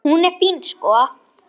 Hún er fín, sko.